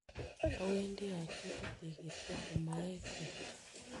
Awendi achule tikitik komaek keny.